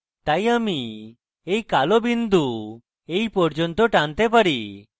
তাই আমি এই কালো বিন্দু এই পর্যন্ত টানতে পারি